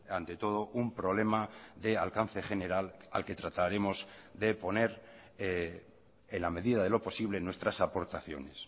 ante todo un problema de alcance general al que trataremos de poner en la medida de lo posible nuestras aportaciones